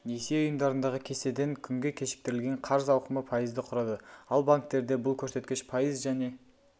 несие ұйымдарындағы кестеден күнге кешіктірілген қарыз ауқымы пайызды құрады ал банктерде бұл көрсеткіш пайыз және